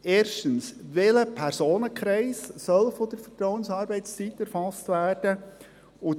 Erstens: Welcher Personenkreis soll von der Vertrauensarbeitszeit erfasst werden?